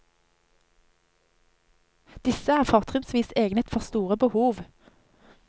Disse er fortrinnsvis egnet for store behov.